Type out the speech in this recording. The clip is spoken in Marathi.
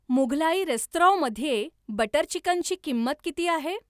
मुघलाई रेस्तराँ मध्ये बटर चिकनची किंमत किती आहे?